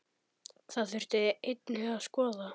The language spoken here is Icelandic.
Það þurfi einnig að skoða.